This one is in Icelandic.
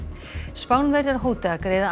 Spánverjar hóta að greiða